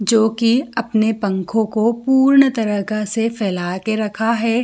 जोकि अपने पंखो को पूर्ण तराका से फैला के रखा है।